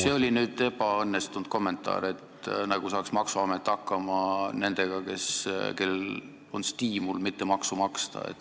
See oli küll ebaõnnestunud kommentaar, et küll maksuamet saab hakkama nendega, kellel on stiimul mitte maksu maksta.